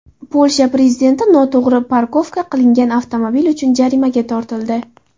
Polsha prezidenti noto‘g‘ri parkovka qilingan avtomobil uchun jarimaga tortildi.